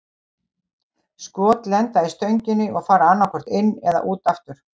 Skot lenda í stönginni og fara annað hvort inn eða út aftur.